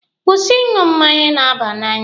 Kwụsị ịṅụ mmanya na-aba n'anya!